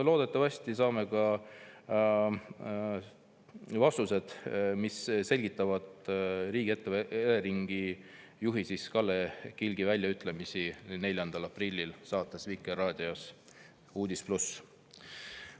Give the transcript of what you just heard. Loodetavasti saame ka vastused, mis selgitavad Eleringi juhi Kalle Kilgi väljaütlemisi 4. aprillil Vikerraadio saates "Uudis+".